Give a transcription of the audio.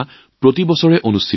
প্ৰতি বছৰে এই মেলা অনুষ্ঠিত হয়